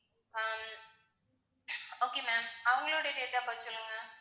ஆஹ் okay ma'am அவங்களுடைய date of birth சொல்லுங்க?